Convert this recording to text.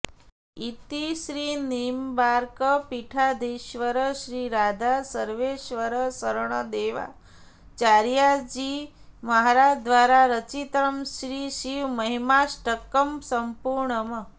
इति श्रीनिम्बार्कपीठाधीश्वर श्रीराधासर्वेश्वरशरणदेवाचार्यजी महाराज द्वारा रचितं श्रीशिवमहिमाष्टकं सम्पूर्णम्